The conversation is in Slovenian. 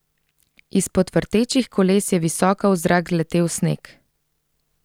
Izpod vrtečih koles je visoko v zrak letel sneg.